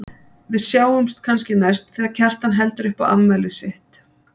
Við sjáumst kannski næst þegar Kjartan heldur upp á afmælið sitt.